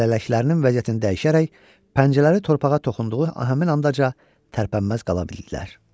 Lələklərinin vəziyyətini dəyişərək pəncələri torpağa toxunduğu həmin anca tərpənməz qala bildilər.